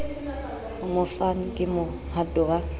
ho mofani ke mohato wa